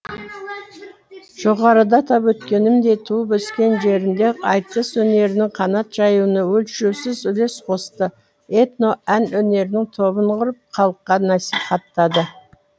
жоғарыда атап өткенімдей туып өскен жерінде айтыс өнерінің қанат жаюына өлшеусіз үлес қосты этно ән өнерінің тобын құрып халыққа насихаттады